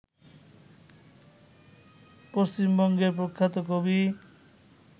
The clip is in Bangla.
পশ্চিমবঙ্গের প্রখ্যাত কবি